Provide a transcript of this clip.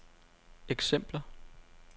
eksempler